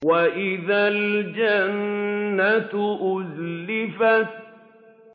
وَإِذَا الْجَنَّةُ أُزْلِفَتْ